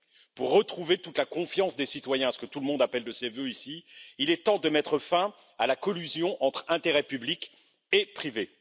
Pour retrouver toute la confiance des citoyens, ce que tout le monde appelle de ses vœux ici, il est temps de mettre fin à la collusion entre intérêts publics et privés.